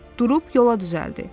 Durub yola düzəldi.